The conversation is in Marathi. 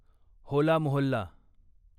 होला मोहल्ला